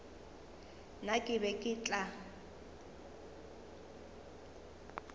nna ke be ke tla